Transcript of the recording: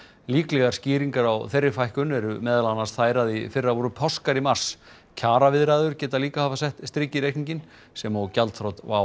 líklegar skýringar á þeirri fækkun eru meðal annars þær að í fyrra voru páskar í mars kjaraviðræður geta líka hafa sett strik í reikninginn sem og gjaldþrot WOW